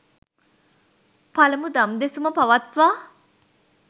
පළමු දම් දෙසුම පවත්වා